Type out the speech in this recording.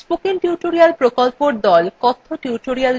কথ্য tutorialsগুলি ব্যবহার করে workshop সঞ্চালন করে